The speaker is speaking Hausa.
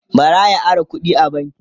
bara ya Ara kuɗi a banki